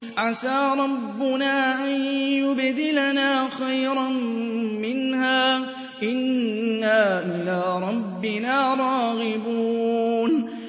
عَسَىٰ رَبُّنَا أَن يُبْدِلَنَا خَيْرًا مِّنْهَا إِنَّا إِلَىٰ رَبِّنَا رَاغِبُونَ